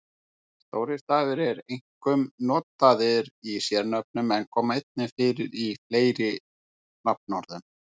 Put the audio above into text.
Stórir stafir eru einkum notaðir í sérnöfnum en koma einnig fyrir í fleiri nafnorðum.